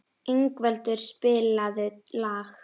Ingveldur, spilaðu lag.